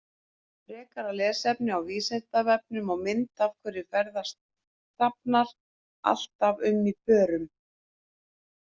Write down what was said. Frekara lesefni á Vísindavefnum og mynd Af hverju ferðast hrafnar alltaf um í pörum?